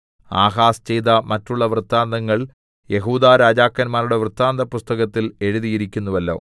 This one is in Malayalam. ആഹാസ് ചെയ്ത മറ്റുള്ള വൃത്താന്തങ്ങൾ യെഹൂദാ രാജാക്കന്മാരുടെ വൃത്താന്തപുസ്തകത്തിൽ എഴുതിയിരിക്കുന്നുവല്ലോ